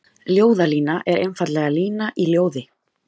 Ljóðlína er einfaldlega lína í ljóði.